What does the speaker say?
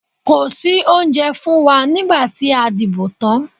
Kò sí oúnjẹ fún wa nígbà tí a dìbò tán.